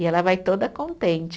E ela vai toda contente.